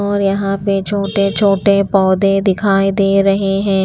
और यहाँ पे छोटे-छोटे पौधे दिखाई दे रहे हैं।